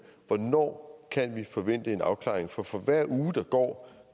hvornår kan vi så forvente en afklaring for for hver uge der går